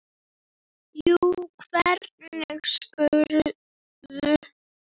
Jú, hvernig spyrðu.